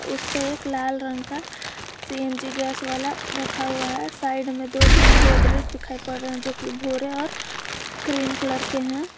उस पे एक लाल रंग का सी_एन_जी गैस वाला रखा हुआ है साइड में दो तीन गोदरेज दिखाई पड़ रहे है जो कि भूरे और क्रीम कलर के हैं।